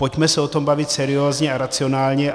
Pojďme se o tom bavit seriózně a racionálně.